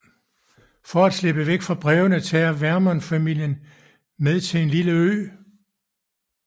For at slippe væk fra brevene tager Vernon familien med til en lille ø